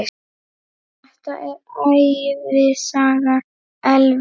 Þetta er ævisaga Elvis!